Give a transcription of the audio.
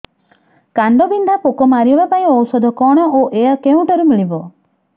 କାଣ୍ଡବିନ୍ଧା ପୋକ ମାରିବା ପାଇଁ ଔଷଧ କଣ ଓ ଏହା କେଉଁଠାରୁ ମିଳିବ